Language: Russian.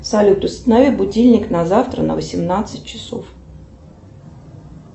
салют установи будильник на завтра на восемнадцать часов